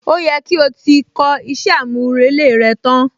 Ó yẹ kí o ti kọ iṣẹ́ àmúrelé rẹ tán!